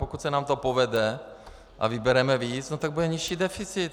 Pokud se nám to povede a vybereme víc, tak bude nižší deficit.